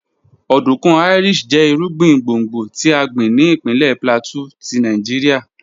Ọdunkun Irish jẹ irugbin gbongbo ti a gbin ni ipinlẹ Plateau ti Nigeria